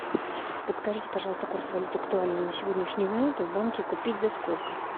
подскажите пожалуйста курс валюты актуальный на сегодняшнюю минуту в банке купить за сколько